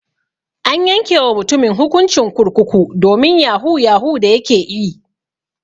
An yanke wa mutumin hukuncin kurkuku domin yahu yahu da yake ƴi.